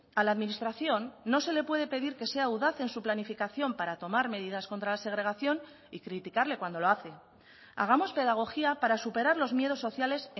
a la administración no se le puede pedir que sea audaz en su planificación para tomar medidas contra la segregación y criticarle cuando lo hace hagamos pedagogía para superar los miedos sociales